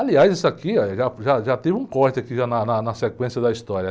Aliás, isso aqui, olha, já, já, já teve um corte aqui já na, na sequência da história.